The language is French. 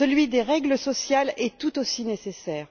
le respect des règles sociales est tout aussi nécessaire.